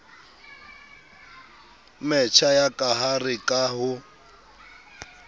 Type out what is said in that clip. metjha ya kahare ka ho